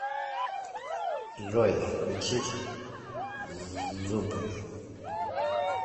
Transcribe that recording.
джой включить зззубы